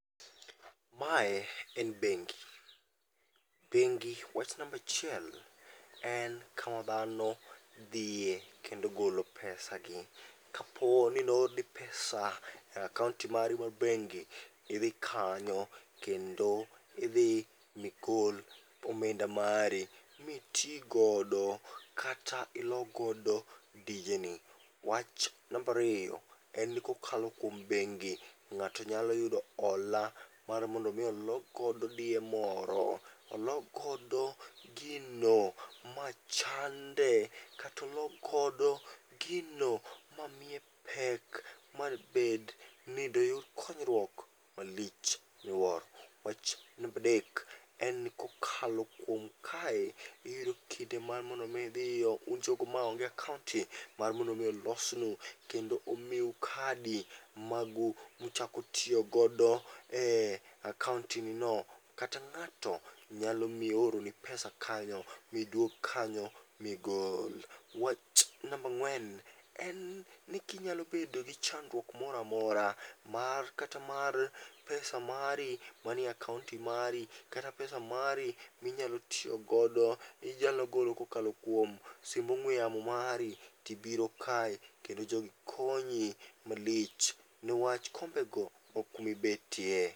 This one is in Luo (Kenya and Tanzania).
Mae en bengi, bengi wach nambachiel en kama dhano dhiye kendo golo pesa gi. Kapo ni noorni pesa e akaonti mari mar bengi, idhi kanyo kendo idhi migol omenda mari miti godo kata ilogodo dijeni. Wach nambariyo, en ni kokalo kuom bengi ng'ato nyalo yudo hola mar mondo mi olok godo diye moro, olokgodo gino maa chande katolokgodo ginomamiye pek mabed ni doyud konyruok malich moloyo. Wach nambadek, en ni kokalo kuom kae iyudo kinde mar mondo mi idhiyo un jogo ma onge akaonti mar mondo mi olosnu kendo omiu kadi magu muchako tiyogodo e akaonti ni no. Kata ng'ato nyalo miyo oroni pesa kanyo miduog kanyo migol. Wach nambang'wen en ni kinyalo bedo gi chandruok moramora mar kata mar pesa mari manie akaonti mari kata pesa mari minyalo tiyogodo inyalo golo kokalo simb ong'we yamo mari. Tibiro kae kendo jogi konyi malich newach kombe go ok kumibetie.